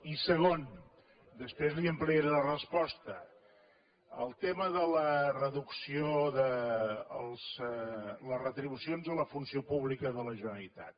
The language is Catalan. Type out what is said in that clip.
i segon després li ampliaré la resposta el tema de la reducció de les retribucions a la funció pública de la generalitat